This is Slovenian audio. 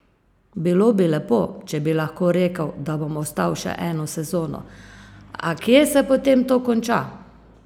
Bilo bi lepo, če bi lahko rekel, da bom ostal še eno sezono, a kje se potem to konča?